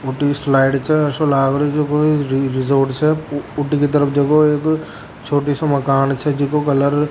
resort लाग रो छे ऊटी की तरफ़ देखो छोटी सी मकान छे जिको कलर --